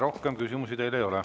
Rohkem küsimusi teile ei ole.